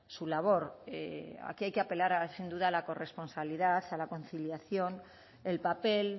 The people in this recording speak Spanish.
su labor aquí hay que apelar sin duda a la corresponsabilidad a la conciliación el papel